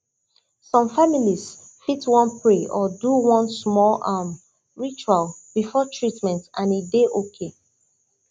some families fit wan pray or do one small um ritual before treatment and e dey okay